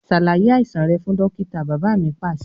Ṣàlàyé àìsàn rẹ fún dókítà! Bàbá mi Pàṣẹ.